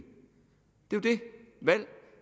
valg